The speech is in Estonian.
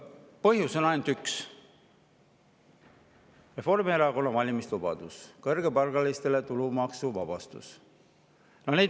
Põhjus on ainult üks: Reformierakonna valimislubadus, tulumaksu kõrgepalgalistele.